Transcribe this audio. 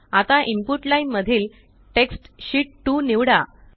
आता input line मधील text sheet 2 निवडा